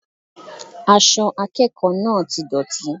Aṣọ akẹ́kọ̀ọ́ náà ti dọ̀tí